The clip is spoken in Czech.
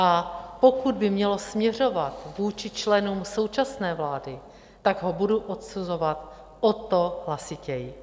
A pokud by mělo směřovat vůči členům současné vlády, tak ho budu odsuzovat o to hlasitěji.